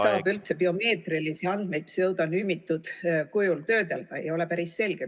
... ja kuidas siis saab biomeetrilisi andmeid üldse pseudonümiseeritud kujul töödelda, ei ole päris selge.